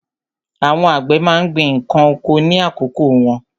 Àwọn àgbẹ̀ má ń gbin ǹkan oko ní àkókò wọn.